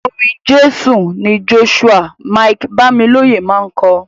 Orin Jésù ni Joshua Mike-Bamiloye máa ń kọ.